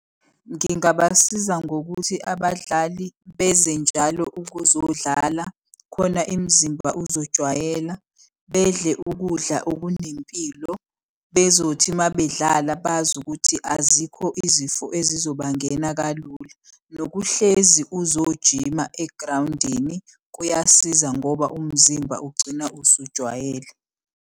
Ngingabasiza ngokuthi abadlali beze njalo ukuzodlala khona imizimba uzojwayela. Bedle ukudla okunempilo bezothi uma bedlala bazi ukuthi azikho izifo ezizobangena kalula. Nokuhlezi uzojima egrawundini kuyasiza ngoba umzimba ugcina usujwayele.